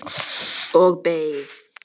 Og beið.